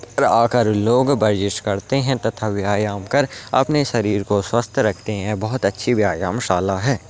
इदर आकर लोग वर्जिश करते हैं तथा व्यायाम कर अपने शरीर को स्वस्थ रखते हैं बहौत अच्छी व्यायाम शाला है।